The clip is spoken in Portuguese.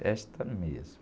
Festa mesmo.